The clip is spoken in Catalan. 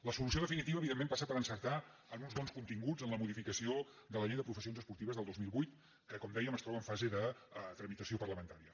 la solució definitiva evidentment passa per encer·tar en uns bons continguts en la modificació de la llei de professions esportives del dos mil vuit que com dèiem es troba en fase de tramitació parlamentària